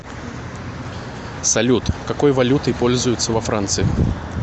салют какой валютой пользуются во франции